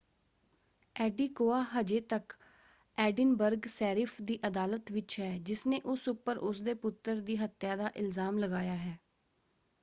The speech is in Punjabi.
ਐਡੀਕੋਯਾ ਹਜੇ ਤੱਕ ਐਡਿਨਬਰਗ ਸ਼ੈਰਿਫ਼ ਦੀ ਅਦਾਲਤ ਵਿੱਚ ਹੈ ਜਿਸਨੇ ਉਸ ਉੱਪਰ ਉਸਦੇ ਪੁੱਤਰ ਦੀ ਹੱਤਿਆ ਦਾ ਇਲਜਾਮ ਲਗਾਇਆ ਹੈ।